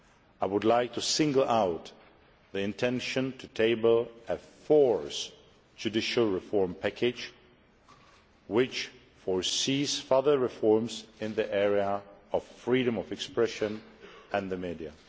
I would like to single out the intention to table a fourth judicial reform package which envisages further reforms in the area of freedom of expression and the media.